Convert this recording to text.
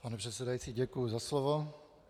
Pane předsedající, děkuji za slovo.